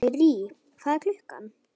Sirrý, hvað er klukkan?